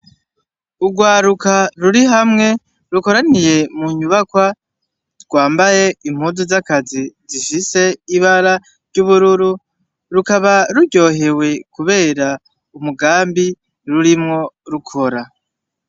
Urwaruka ruri hamwe rukoraniye munyubakwa, rwambaye impuzu z'akazi zifis'ibara ry'ubururu, rukaba ruryohewe kubera umugambi rurimwo rukora.